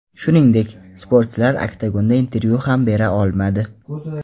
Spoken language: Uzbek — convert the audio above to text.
Shuningdek, sportchilar oktagonda intervyu ham bera olmadi.